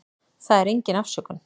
Það er engin afsökun.